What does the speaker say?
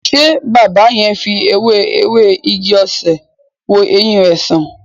Ṣé baba yẹn fi ewé ewé igi-osè wo ẹyin rẹ san?